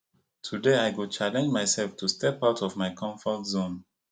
today i go challenge myself to step out of my comfort zone